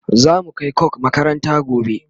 zamu Kai coke makaranta gobe